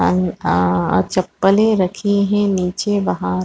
अम-आ चप्पले रखी है नीचे बाहर --